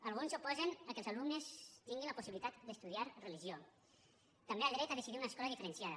alguns s’oposen que els alumnes tinguin la possibilitat d’estudiar religió també al dret a decidir una escola diferenciada